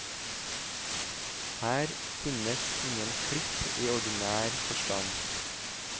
Her finnes ingen klipp i ordinær forstand.